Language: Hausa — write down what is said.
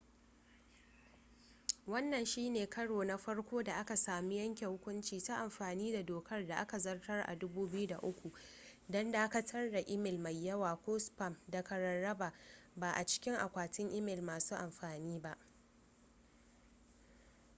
wannan shi ne karo na farko da aka samu yanke hukunci ta amfani da dokar da aka zartar a 2003 don dakatar da imel mai yawa ko spam daga rarraba ba a cikin akwatin imel masu amfani